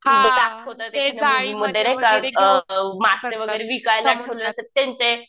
दाखवतात नाही का अ मासे वगैरे विकायला ठेवलेले असतात त्यांचे